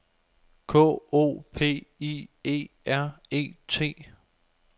K O P I E R E T